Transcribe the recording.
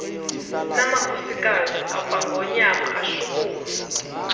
namakhosikazi akwangonyama ashukuma